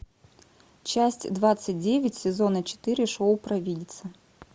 часть двадцать девять сезона четыре шоу провидица